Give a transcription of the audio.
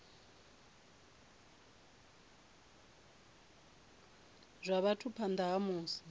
zwa vhathu phanḓa ha musi